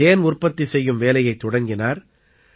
இவர் தேன் உற்பத்தி செய்யும் வேலையைத் தொடங்கினார்